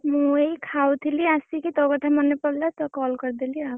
ମୁଁ ଏଇ ଖାଉଥିଲି ଆସିକି ତୋ କଥା ମନେ ପଡିଲା ତ call କରିଦେଲି।